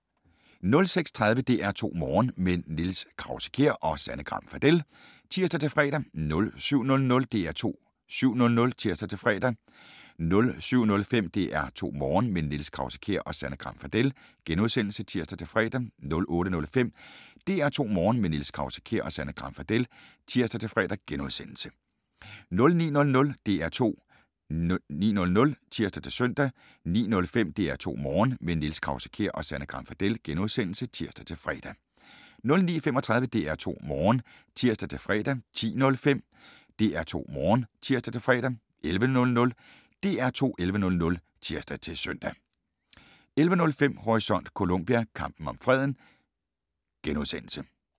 06:30: DR2 Morgen – med Niels Krause-Kjær og Sanne Gram Fadel (tir-fre) 07:00: DR2 7:00 (tir-fre) 07:05: DR2 Morgen – med Niels Krause-Kjær og Sanne Gram Fadel *(tir-fre) 08:05: DR2 Morgen – med Niels Krause-Kjær og Sanne Gram Fadel *(tir-fre) 09:00: DR2 9:00 (tir-søn) 09:05: DR2 Morgen – med Niels Krause-Kjær og Sanne Gram Fadel *(tir-fre) 09:35: DR2 Morgen (tir-fre) 10:05: DR2 Morgen (tir-fre) 11:00: DR2 11.00 (tir-søn) 11:05: Horisont: Colombia - kampen om freden *